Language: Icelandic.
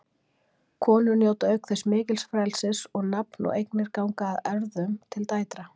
Konur njóta auk þess mikils frelsis og nafn og eignir ganga að erfðum til dætra.